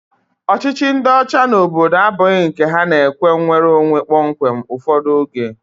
Ọchịchị ndị ọcha n'obodo abụghị nke ha na-ekwe nnwereonwe kpọmkwem ụfọdụ oge.